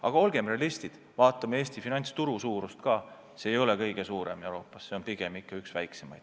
Aga olgem realistid, vaadakem Eesti finantsturu suurust ka – see ei ole kõige suurem Euroopas, see on pigem ikka üks väikseimaid.